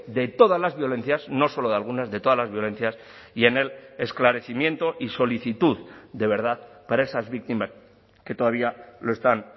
de todas las violencias no solo de algunas de todas las violencias y en el esclarecimiento y solicitud de verdad para esas víctimas que todavía lo están